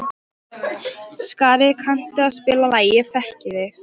Skari, kanntu að spila lagið „Ég þekki þig“?